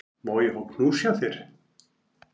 Má ég fá knús frá þér?